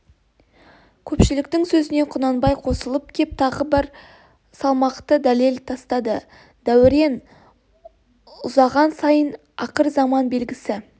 көпшіліктің сөзіне құнанбай қосылып кеп тағы бір салмақты дәлел тастады дәурен ұзаған сайын ақыр заман белгісі